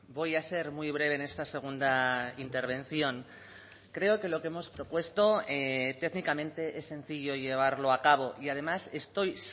voy a ser muy breve en esta segunda intervención creo que lo que hemos propuesto técnicamente es sencillo llevarlo a cabo y además estoy